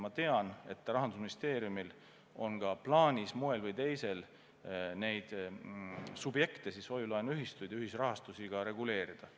Ma tean, et Rahandusministeeriumil on ka plaanis ühel või teisel moel neid subjekte ehk siis hoiu-laenuühistuid ja ühisrahastusi reguleerida.